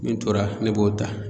Min tora ne b'o ta.